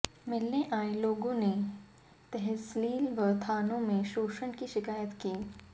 मिलने आए लोगों ने तहसील व थानों में शोषण की शिकायत की